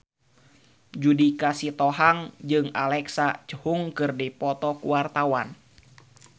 Judika Sitohang jeung Alexa Chung keur dipoto ku wartawan